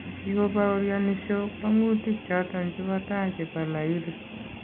Kikobawooryani Shaw kwang'utik choton chebo tai chebo Lahiri